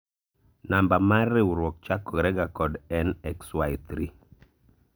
namba mar riwruok chakore ga kod en XY3